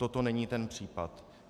Toto není ten případ.